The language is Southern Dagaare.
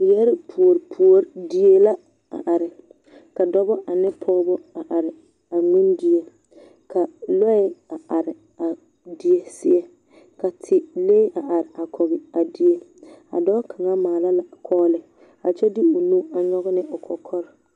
Yԑre puori puori die la a are, ka dͻbͻ ane pͻgebͻ a are a ŋmendie. Ka lͻԑ a are a die zie ka dilee a are a kͻge a die. Dͻͻ kaŋa maala la kͻͻle kyԑ de onu a nyͻge ne o kͻkͻre.